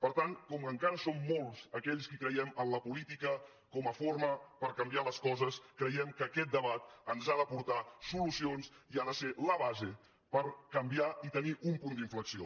per tant com que encara som molts aquells qui creiem en la política com a forma per canviar les coses creiem que aquest debat ens ha d’aportar solucions i ha de ser la base per canviar i tenir un punt d’inflexió